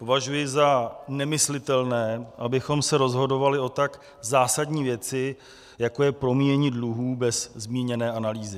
Považuji za nemyslitelné, abychom se rozhodovali o tak zásadní věci, jako je promíjení dluhů, bez zmíněné analýzy.